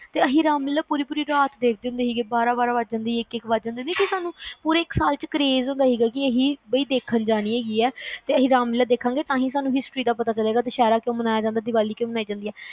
ਤੇ ਅਸੀਂ ਰਾਮਲੀਲਾ ਪੁਰੀ ਪੁਰੀ ਰਾਤ ਦੇਖਦੇ ਹੁੰਦੇ ਸੀ ਬਾਰਹ ਬਾਰਹ ਇਕ ਇਕ ਬਾਜ ਜਾਂਦੇ ਹੁੰਦੇ ਸੀਗੇ ਸੀ ਸਾਨੂ ਪੂਰੇ ਇਕ ਸਾਲ craaze ਹੁੰਦਾ ਸੀ ਕੇ ਅਸੀਂ ਦੇਖਣ ਜਨੀ ਆ, ਅਸੀਂ ਰਾਮਲੀਲਾ ਦੇਖ ਗਏ ਤਾ ਸਾਨੂ ਪਤਾ ਚਲੁ ਕੇ ਦੁਸਹਿਰਾ ਕਯੋ ਮਨਾਇਆ ਜਾਂਦਾ ਦੀਵਾਲੀ ਕਯੋ ਮਨਾਇਆ ਜਾਂਦਾ